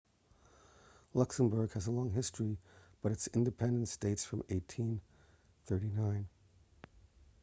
luxembourg has a long history but its independence dates from 1839